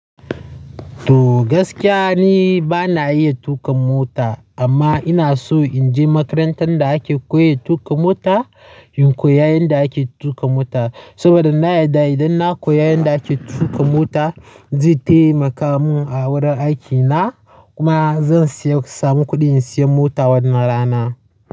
To, gaskiya ni bana iya tuƙa mota, amma ina so in je makarantar da ake koyar tuƙa mota in koyi yadda ake tuƙa mota. Saboda na yarda idan na koyi yadda ake tuƙa mota, zai taimaka mun a wurin aikina kuma zan samu kuɗi in sayi mota wan nan rana.